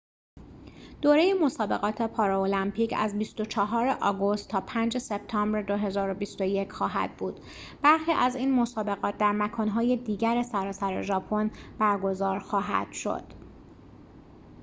دوره مسابقات پارالمپیک از ۲۴ آگوست تا ۵ سپتامبر ۲۰۲۱ خواهد بود برخی از این مسابقات در مکان‌های دیگر سراسر ژاپن برگزار خواهد شد